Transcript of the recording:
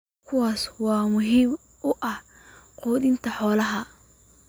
kuwaas oo muhiim u ah quudinta xoolaha.